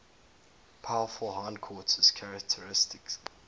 powerful hindquarters characteristic